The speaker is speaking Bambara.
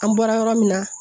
An bɔra yɔrɔ min na